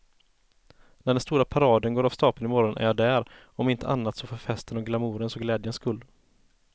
När den stora paraden går av stapeln i morgon är jag där, om inte annat så för festens och glamourens och glädjens skull.